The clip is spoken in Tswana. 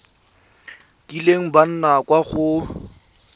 kileng ba nna kwa go